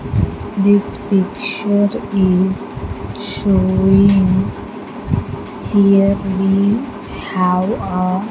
This picture is showing here we have a--